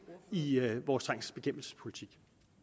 i i vores trængselsbekæmpelsespolitik